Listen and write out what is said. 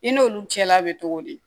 I n'olu cɛla bɛ cogo di